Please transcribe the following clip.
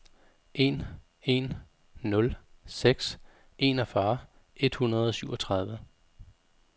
en en nul seks enogfyrre et hundrede og syvogtredive